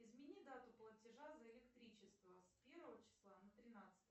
измени дату платежа за электричество с первого числа на тринадцатое